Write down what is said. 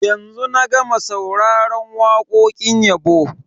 Yanzu na gama sauraron wakokin yabo.